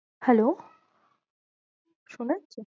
Hello শোনা যাচ্ছে?